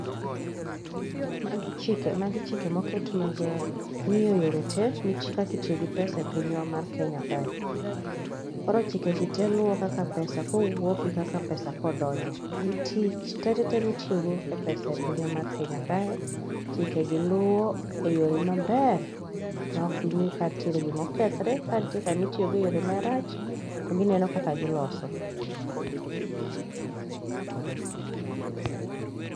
magi chike moketi mag ng'iyo yore tee kaki tiyo gi pesa e pinywa mar kenya kae koro chike gi te luo kaka pesa kowuok gi kaka pesa kodonjo gi tich te te te mitiyo go e pesa e pinywa mar kenya, chike gi luwo e yo maber ma ok gi kanitiere gimo kethre kni tiere kama itiyo go e yore marach to gineno kaka giloso.